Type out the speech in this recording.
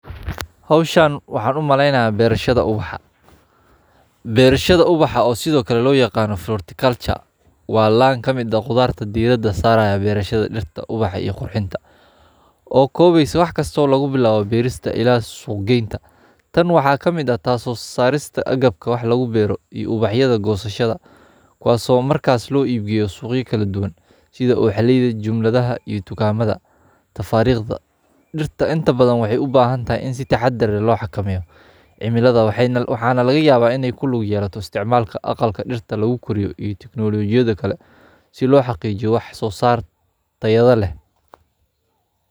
xoshan Waxaan u maleynaa beerashada ubaxa. Beerashada ubaxa oo sidoo kale loo yaqaano vertical culture waa la'an ka mida qudaarta diidadda saaraya beerashada dhirta, ubaxa iyo qurxinta. Oo koobays wax kasta oo lagu bilaabo biirista ilaa suuqeynta. Tan waxaa ka mid ah taaso saarista agabka wax lagu beero iyo ubaxyada go'sashada. Kuwaasoo markaas loo iibgiyo suuqyada kala duwan sida u xallayda jumladaha iyo tukaamada. Tafaariiqda dhirta inta badan waxay u baahan tahay in si taxadar looxa kamayo. Cimiladaad waxay nal waxaana laga yaabaa inay ku lug yaraasto isticmaalka, aqalka dhirta lagu koriyo iyo tiknoolajiyadda kale si loo xaqiijiyo wax soo saartayada leh.